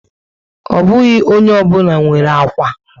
Ọ bụghị ónyé obula nwèrè ákwà